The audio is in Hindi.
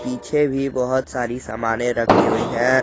पीछे भी बहोत सारी सामाने रखी हुई है।